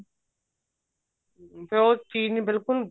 ਫੇਰ ਉਹ ਚੀਜ ਨਹੀਂ ਬਿਲਕੁਲ